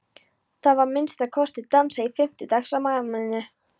Það var að minnsta kosti dansað í fimmtugsafmælinu.